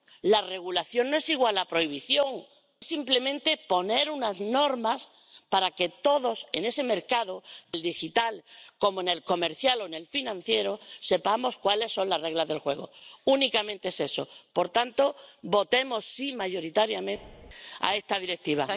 La regulación no es igual a prohibición. Consiste simplemente en poner unas normas para que todos, también en el mercado digital como en el comercial o en el financiero, sepamos cuáles son las reglas del juego. Únicamente es eso. Por tanto, votemos sí mayoritariamente a esta Directiva.